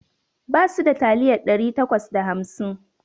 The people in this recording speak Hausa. Basu da taliyar ɗari takwas da hamsin